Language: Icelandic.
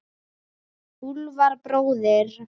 Úlfar bróðir.